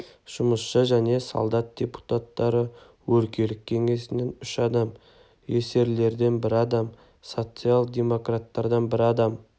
жұмысшы және солдат депутаттары өлкелік кеңесінен үш адам эсерлерден бір адам социал-демократтардан бір адам